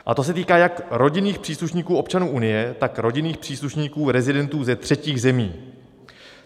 A to se týká jak rodinných příslušníků občanů Unie, tak rodinných příslušníků rezidentů ze třetích zemí.